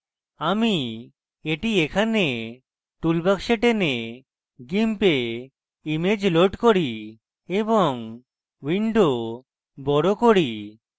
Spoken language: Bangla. আমি এটি এখানে টুল বাক্সে টেনে gimp image load করি এবং window বড় করি